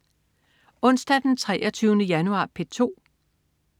Onsdag den 23. januar - P2: